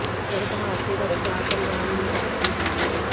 ਸੜਕ ਹਾਦਸੇ ਦਾ ਸ਼ਿਕਾਰ ਪਰਿਵਾਰ ਨੂੰ ਇਨਸਾਫ਼ ਦੀ ਉਡੀਕ